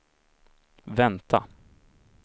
vänta